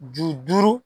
Ju duuru